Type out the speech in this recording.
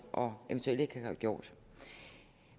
og eventuelt ikke har gjort